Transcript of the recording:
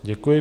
Děkuji.